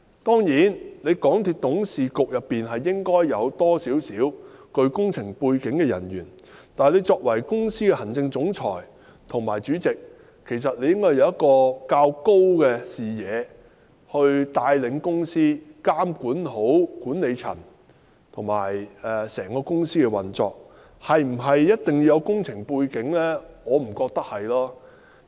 當然，港鐵公司董事局應該有一些具備工程背景的成員，但作為公司行政總裁及主席應具較高視野來帶領公司，監管好管理層及整個公司的運作，至於是否一定要具備工程背景，我並不認為有必要。